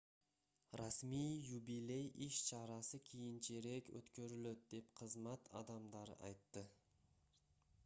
расмий юбилей иш-чарасы кийинчерээк өткөрүлөт деп кызмат адамдары айтты